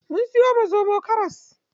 Mun siyo wa zomo karas.